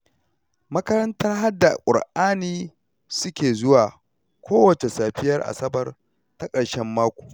Makarantar haddar Ƙur'ani suke zuwa kowacce safiyar asabar ta ƙarshen mako